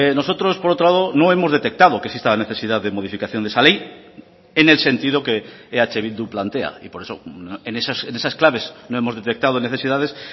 nosotros por otro lado no hemos detectado que exista la necesidad de modificación de esa ley en el sentido que eh bildu plantea y por eso en esas claves no hemos detectado necesidades